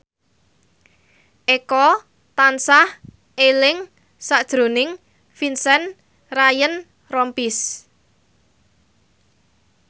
Eko tansah eling sakjroning Vincent Ryan Rompies